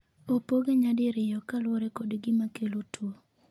opoge nyadirio kaluore kod gima kelo tuo